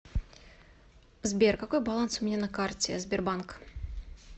сбер какой баланс у меня на карте сбербанк